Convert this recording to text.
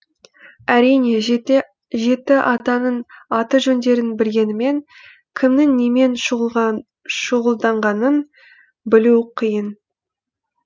әрине жеті атаның аты жөндерін білгенімен кімнің немен шұғылданғанын білу қиын